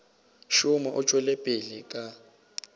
šoma o tšwela pele ka